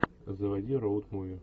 заводи роут муви